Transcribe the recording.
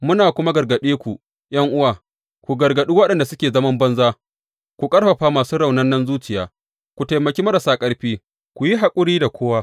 Muna kuma gargaɗe ku, ’yan’uwa, ku gargaɗe waɗanda suke zaman banza, ku ƙarfafa masu raunanar zuciya, ku taimaki marasa ƙarfi, ku yi haƙuri da kowa.